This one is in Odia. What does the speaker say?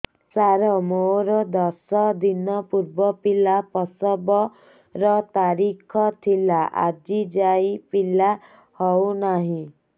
ସାର ମୋର ଦଶ ଦିନ ପୂର୍ବ ପିଲା ପ୍ରସଵ ର ତାରିଖ ଥିଲା ଆଜି ଯାଇଁ ପିଲା ହଉ ନାହିଁ